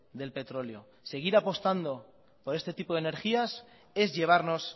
del petróleo seguir apostando por este tipo de energías es llevarnos